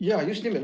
Jaa, just nimelt.